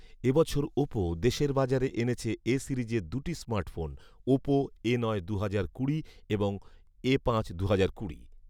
এ বছর ওপো দেশের বাজারে এনেছে ‘এ’ সিরিজের দুটি স্মার্টফোন ওপো এ নয় দুহাজার কুড়ি এবং এ পাঁচ দুহাজার কুড়ি